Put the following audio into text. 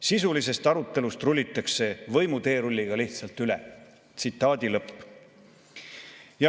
Sisulisest arutelust rullitakse võimuteerulliga lihtsalt üle.